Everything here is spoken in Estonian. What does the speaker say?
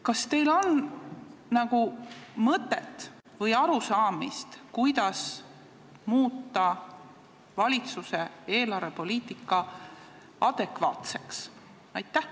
Kas teil on nagu mõtet või arusaamist, kuidas muuta valitsuse eelarvepoliitika adekvaatseks?